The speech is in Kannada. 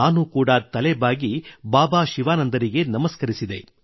ನಾನು ಕೂಡಾ ತಲೆ ಬಾಗಿ ಬಾಬಾ ಶಿವಾನಂದರಿಗೆ ನಮಸ್ಕರಿಸಿದೆ